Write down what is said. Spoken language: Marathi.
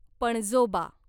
पणजोबा